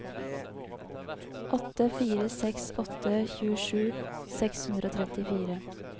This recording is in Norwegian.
åtte fire seks åtte tjuesju seks hundre og trettifire